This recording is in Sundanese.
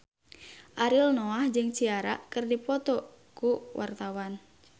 Ariel Noah jeung Ciara keur dipoto ku wartawan